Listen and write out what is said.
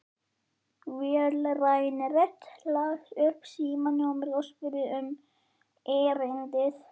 Vélræn rödd las upp símanúmerið og spurði um erindið.